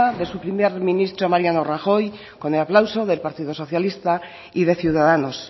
de su primer ministro mariano rajoy con el aplauso del partido socialista y de ciudadanos